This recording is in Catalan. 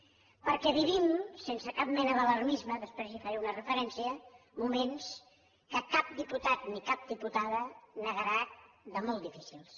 perquè vivim sense cap mena d’alarmisme després hi faré una referència moments que cap diputat ni cap diputada negarà molt difícils